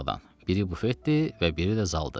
Biri bufetdir və biri də zaldır.